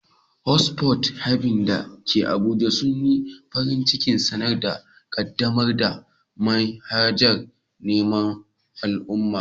Hot Pot Haven da ke Abuja sun yi farin cikin sanar da ƙaddamar da manhajar menu na mu'amala.